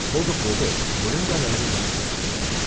போகப் போக முழங்கால் அளவு ஜலத்துக்கு மேல் இல்லை.